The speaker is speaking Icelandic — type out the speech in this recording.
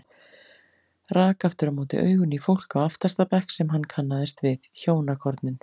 Rak aftur á móti augun í fólk á aftasta bekk sem hann kannaðist við, hjónakornin